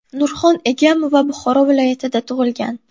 Nurxon Egamova Buxoro viloyatida tug‘ilgan.